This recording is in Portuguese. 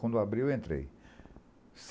Quando abri, eu entrei.